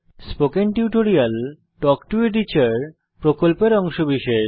spoken tutorial talk to a teacher প্রকল্পের অংশবিশেষ